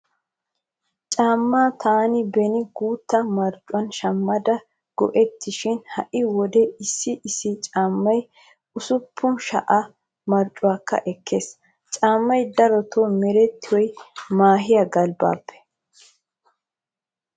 Caammaa taani beni guutta marccuwaan shammada go'ettaasishin ha'i wode issi issi caammay 6000 marccuwaakka ekkees. Caammay darotoo merettiyoy mehiyaa galbbaappe.